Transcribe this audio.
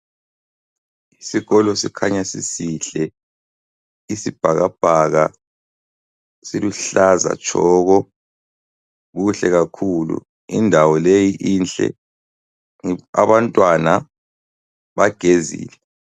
Isikolo sikhanya sisihle isibhakabhaka siluhlaza tshoko kuhle kakhulu. Indawo leyi inhle, abantwana bagezile.